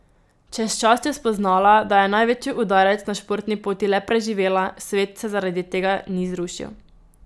Čez čas je spoznala, da je največji udarec na športni poti le preživela, svet se zaradi tega ni zrušil.